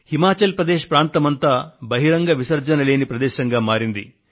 హిమాచల్ ప్రదేశ్ ప్రాంతమంతా బహిరంగ మల మూత్ర విసర్జన లేని ప్రదేశంగా మారింది